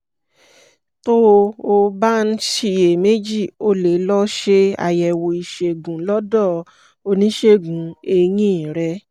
tó o bá ń ṣiyèméjì o lè lọ ṣe àyẹ̀wò ìṣègùn lọ́dọ̀ oníṣègùn eyín rẹ